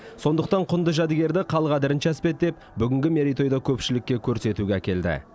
сондықтан құнды жәдігерді қал қадірінше әспеттеп бүгінгі мерейтойда көпшілікке көрсетуге әкелді